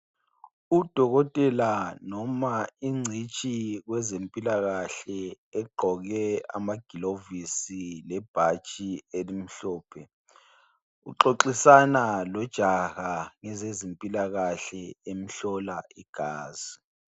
Udokotela noma ingcitshi kwezempilakahle egqoke amagilovisi lebhatshi elimhlophe uxoxisana lojaha ngezezimpilakahle emhlola igazi .